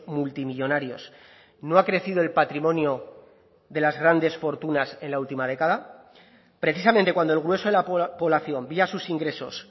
multimillónarios no ha crecido el patrimonio de las grandes fortunas en la última década precisamente cuando el grueso de la población vía sus ingresos